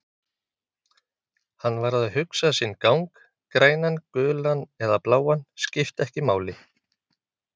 Hann varð að hugsa sinn gang, grænan, gulan eða bláan, skipti ekki máli.